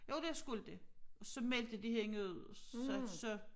Jo det skulle de og så meldte de hende ud så så